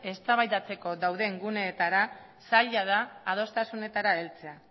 eztabaidatzeko dauden guneetara zaila da adostasunetara heltzea